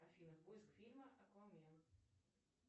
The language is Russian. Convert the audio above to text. афина поиск фильма аквамен